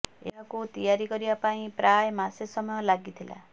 ଏହାକୁ ତିଆରି କରିବା ପାଇଁ ପ୍ରାୟ ମାସେ ସମୟ ଲାଗିଥିଲା